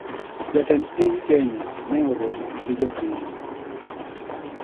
Jatend piny kenya ne oromo gi jopiny